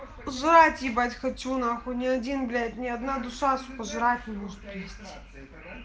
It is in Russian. жрать ебать хочу нахуй не один блять не одна душа сука жрать не может привезти